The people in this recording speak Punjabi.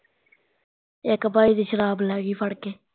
ਇੱਕ ਭਾਈ ਦੀ ਸ਼ਰਾਬ ਲੈਗਈ ਫੜ ਕੇ